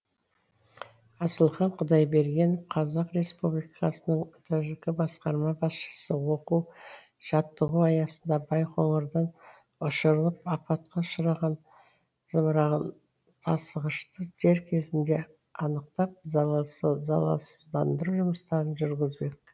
асылхан құдайберген қазақ республикасының тжк басқарма басшысы оқу жаттығу аясында байқоңырдан ұшырылып апатқа ұшыраған зымыран тасығышты дер кезінде анықтап залалсыздандыру жұмыстарын жүргіздік